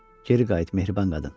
Geri qayıt, mehriban qadın.